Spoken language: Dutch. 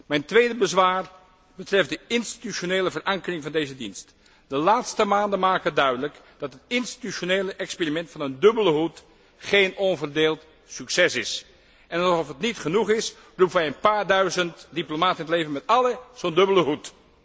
Mijn tweede bezwaar betreft de institutionele verankering van deze dienst. De laatste maanden maken duidelijk dat het institutionele experiment van een dubbele hoed geen onverdeeld succes is. En alsof het nog niet genoeg is, roepen wij een paar duizend diplomaten in het leven met allen zo'n dubbele hoed.